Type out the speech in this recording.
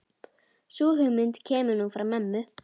Sú hugmynd kemur nú frá mömmu.